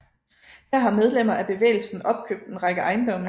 Her har medlemmer af bevægelsen opkøbt en række ejendomme